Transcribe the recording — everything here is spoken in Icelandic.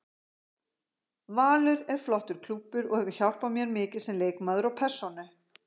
Valur er flottur klúbbur og hefur hjálpað mér mikið sem leikmaður og persónu.